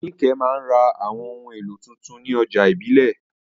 Nike máa ń ra àwọn ohun èlò tuntun ní ọjà ìbílẹ̀.